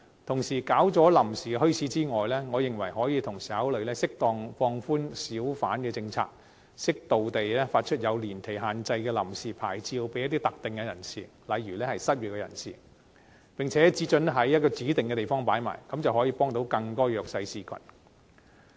除設立臨時墟市外，我認為可以同時考慮適當放寬小販政策，適度發出有年期限制的臨時牌照給一些特定人士，例如失業人士，並且只准許在某些指定地方擺賣，這樣便可以幫助更多弱勢社群。